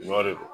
Ɲɔ de